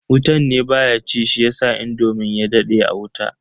Wutan ne baya ci shiyasa indomin ya dade a wuta.